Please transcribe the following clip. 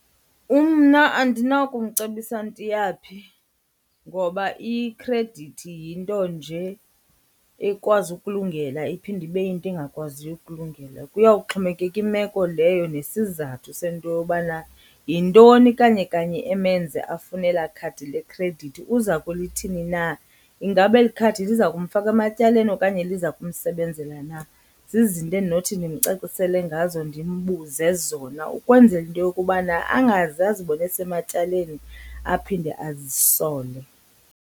Mna andinakumcebisa nto iyaphi ngoba ikhredithi yinto nje ekwazi ukulungela iphinde ibe yinto engakwaziyo ukulungela. Kuyawuxhomekeka imeko leyo nesizathu sento yobana yintoni kanye kanye emenze afune elaa khadi lekhredithi. Uza kulithini na? Ingaba eli khadi liza kumfaka ematyaleni okanye liza kumsebenzela na? Zizinto endinothi ndimcacisele ngazo ndimbuze zona ukwenzela into yokubana angaze azibone esematyaleni aphinde azisole.